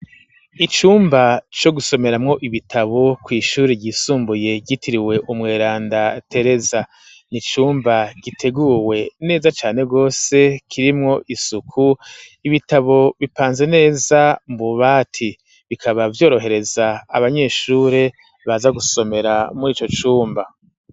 Icumba co gusomeramwo ibitabo kw'ishuri ryisumbuye ryitiriwe umweranda Tereza ni cumba giteguwe neza cane gose kirimwo isuku ibitabo bipanze neza mu bati bikaba vyorohereza abanyeshuri baza gusomera muri ico cumba